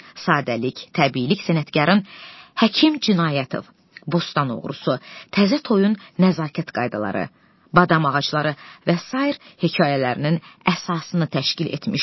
Sadəlik, təbiilik sənətkarın Həkim Cinayətov, Bostan Oğrusu, Təzə Toyun Nəzakət Qaydaları, Badam Ağacları və sair hekayələrinin əsasını təşkil etmişdir.